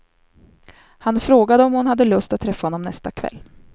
Han frågade om hon hade lust att träffa honom nästa kväll.